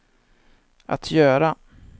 att göra